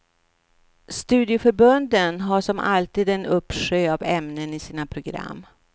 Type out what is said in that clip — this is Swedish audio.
Studieförbunden har som alltid en uppsjö av ämnen i sina program.